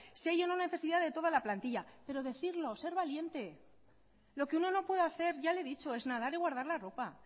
si hay o no hay necesidad de toda la plantilla pero decirlo ser valiente lo que uno no puede hacer ya le he dicho es nadar y guardar la ropa